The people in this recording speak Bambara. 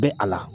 Bɛ a la